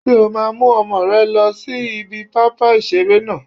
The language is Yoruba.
Ṣé o máa mú ọmọ rẹ lọ sí ibi pápá ìseré náà?